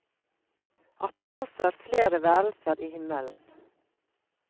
At det altså er flere værelser i himmelen.